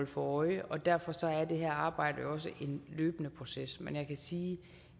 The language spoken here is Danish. for øje derfor er det her arbejde jo også en løbende proces men jeg kan sige